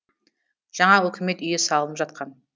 жаңа үкімет үйі салынып жатқан